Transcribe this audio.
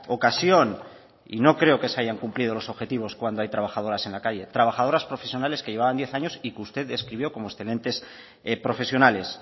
ocasión y no creo que se hayan cumplido los objetivos cuando hay trabajadoras en la calle trabajadoras profesionales que llevaban diez años y que usted describió como excelentes profesionales